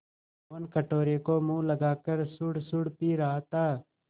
मोहन कटोरे को मुँह लगाकर सुड़सुड़ पी रहा था